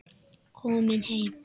Komin heim?